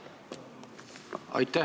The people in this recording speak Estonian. Aitäh!